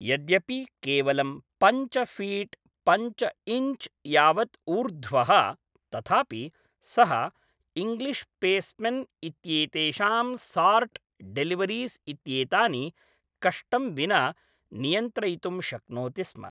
यद्यपि केवलं पञ्च फीट् पञ्च इञ्च् यावद् ऊर्ध्वः तथापि सः इङ्ग्लिश् पेस्मेन् इत्येतेषां सार्ट् डेलिवरीस् इत्येतानि कष्टं विना नियन्त्रयितुं शक्नोति स्म।